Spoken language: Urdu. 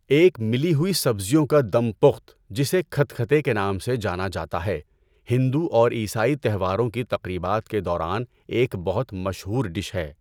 ایک ملی ہوئی سبزیوں کا دم پخت، جسے کھتکھتے کے نام سے جانا جاتا ہے، ہندو اور عیسائی تہواروں کی تقریبات کے دوران ایک بہت مشہور ڈش ہے۔